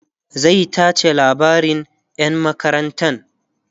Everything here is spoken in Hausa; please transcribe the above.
zai tace labarin yaran makarantan